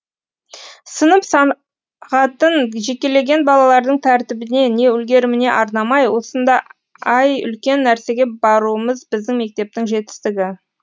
сынып сағатын жекелеген балалардың тәртібіне не үлгеріміне арнамай осындай үлкен нәрсеге баруымыз біздің мектептің жетістігі